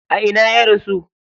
A ina ya rasu?